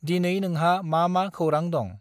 दिनै नोंहा मा मा खौरां दं?